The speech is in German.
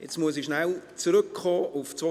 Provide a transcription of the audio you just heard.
Jetzt muss ich kurz auf zwei Dinge zurückkommen.